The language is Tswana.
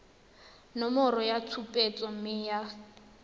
nomoro ya tshupetso mme ya